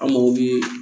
An mago bɛ